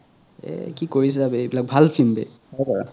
এহ কি কৰিছা বে এই বিলাক ভাল film বে